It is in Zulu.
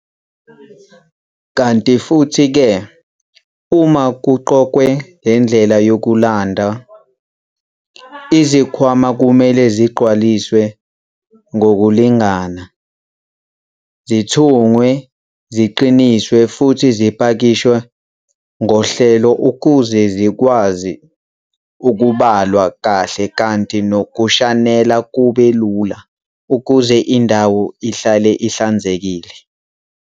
Kanti futhi-ke uma kuqokwe le ndlela yokulonda, izikhwama kumele zigcwaliswe ngokulingana, zithungwe ziqiniswe futhi zipakishwe ngohlelo ukuze zikwazi ukubalwa kahle kanti nokushanela kube lula ukuze indawo ihlale ihlanzekile.